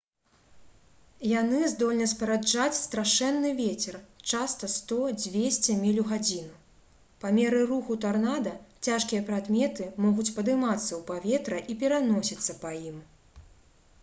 яны здольны спараджаць страшэнны вецер часта 100-200 міль у гадзіну. па меры руху тарнада цяжкія прадметы могуць падымацца ў паветра і пераносіцца па ім